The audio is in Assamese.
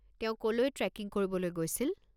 তেওঁ ক'লৈ ট্ৰে'কিং কৰিবলৈ গৈছিল?